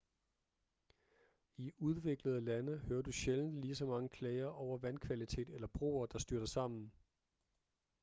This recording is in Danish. i udviklede lande hører du sjældent ligeså mange klager over vandkvalitet eller broer der styrter sammen